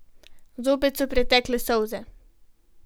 Zopet so pritekle solze.